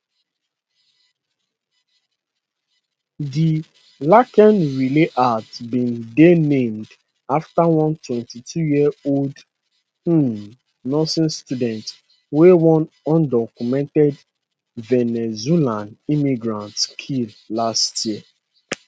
di laken riley act bin dey named afta one 22yearold um nursing student wey one undocumented venezuelan immigrant kill last year